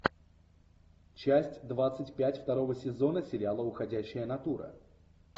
часть двадцать пять второго сезона сериала уходящая натура